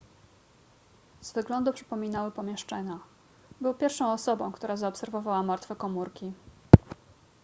z wyglądu przypominały pomieszczenia był pierwszą osobą która zaobserwowała martwe komórki